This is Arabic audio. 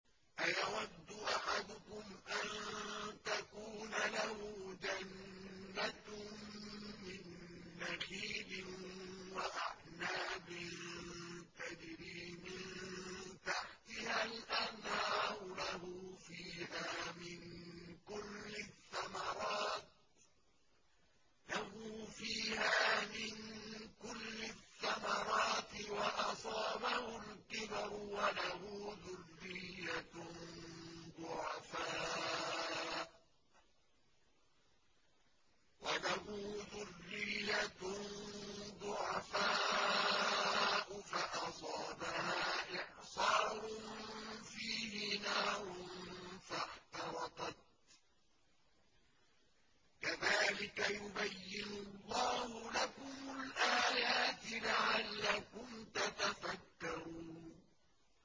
أَيَوَدُّ أَحَدُكُمْ أَن تَكُونَ لَهُ جَنَّةٌ مِّن نَّخِيلٍ وَأَعْنَابٍ تَجْرِي مِن تَحْتِهَا الْأَنْهَارُ لَهُ فِيهَا مِن كُلِّ الثَّمَرَاتِ وَأَصَابَهُ الْكِبَرُ وَلَهُ ذُرِّيَّةٌ ضُعَفَاءُ فَأَصَابَهَا إِعْصَارٌ فِيهِ نَارٌ فَاحْتَرَقَتْ ۗ كَذَٰلِكَ يُبَيِّنُ اللَّهُ لَكُمُ الْآيَاتِ لَعَلَّكُمْ تَتَفَكَّرُونَ